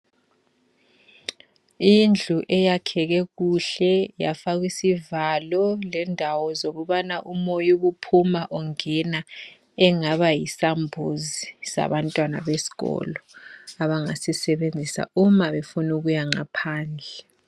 Indlu eyakheke kuhle yafakwa isivalo lendawo zokubana umoya ubuphuma ungena engaba yisambuzi sabantwana besikolo abangasisebenzisa uma befuna ukuya ngaphandle.